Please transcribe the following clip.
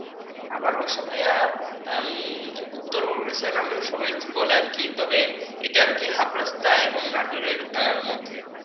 আমার বাসা ভাইয়া উম উত্তর বড়গাছা নামেও সবাই বলে আর কি তবে এটা হাফ রাস্তা এবং নাটোর মধ্যে